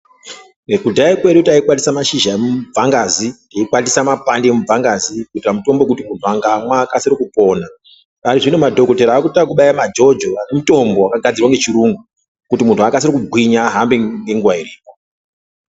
Kudhaya kwedu taikwatisa mashizha amubvangazi teikwatisa mapande emubvangazi kuitira mutombo wekuti muntu akamwa akasire kupona parizvino madhokodhera akuita ekubaye majojo emitombo wakagadzirwa ngechiyungu kuti muntu akasire kugwinya ahambe ngenguwa iripo.